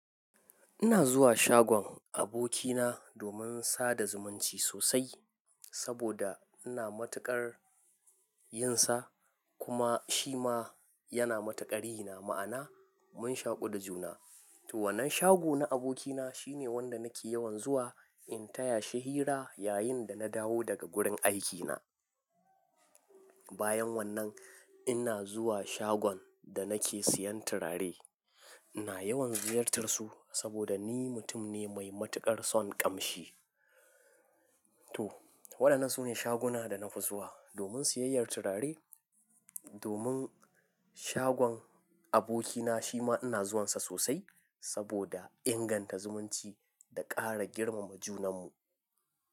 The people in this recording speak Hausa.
Ina zuwa shagon abokina domin sada zumunci sosai, saboda ina matuƙar yin sa, kuma shi ma yana matuƙar yi ma'ana. Mun shaƙu da juna. To wannan shago na abokina shine wanda nake yawan zuwa in taya shi hira yayin da na dawo daga gurin aikina. Bayan wannan, ina zuwa shagon da nake siyan turare. Ina yawan ziyartar su saboda ni mutum ne mai matuƙar son ƙamshi. To, waɗannan su ne shaguna da na fi zuwa domin siyayyar turare. Domin shagon abokina shi ma ina zuwan sa sosai saboda inganta zumunci da ƙara girmama junan mu.